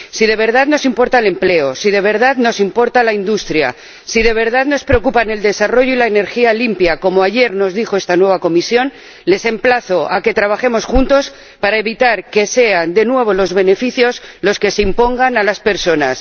Si de verdad nos importa el empleo, si de verdad nos importa la industria, si de verdad nos preocupan el desarrollo y la energía limpia —como ayer nos dijo esta nueva Comisión—, les emplazo a que trabajemos juntos para evitar que sean de nuevo los beneficios los que se impongan a las personas.